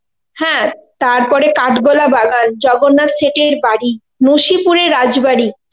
হ্যা তারপরে কাঠগোলা বাগান, জগন্নাথ শেঠ এর বাড়ি, নশীপুর এর রাজবাড়ি,